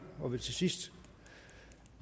og vil til sidst